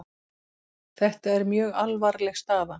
Þetta er mjög alvarleg staða